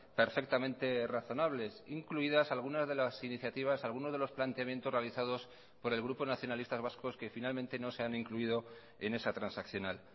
perfectamente razonables incluidas algunas de las iniciativas algunos de los planteamientos realizados por el grupo nacionalistas vascos que finalmente no se han incluido en esa transaccional